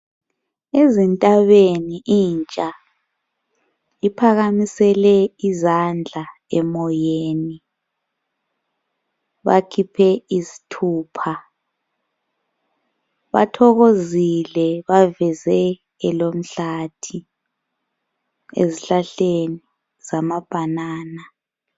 Ezintabeni intsha iphakamisele izandla emoyeni. Bakhiphe izithupha, bathokozile baveze elomhlathi ezihlahleni zama banana.